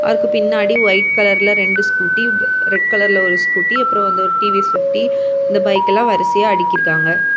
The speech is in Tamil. அவருக்கு பின்னாடி ஒயிட் கலர் ல ரெண்டு ஸ்கூட்டி ரெட் கலர் ல ஒரு ஸ்கூட்டி அப்புறம் வந்து ஒரு டி_வி_எஸ் பிப்டி இந்த பைக் எல்லாம் வரிசையா அடுக்கி இருக்காங்க.